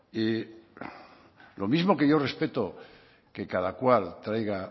y lo mismo que yo respeto que cada cual traiga